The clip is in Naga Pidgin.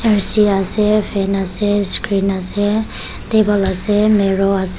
fan ase screen ase table ase mirror as--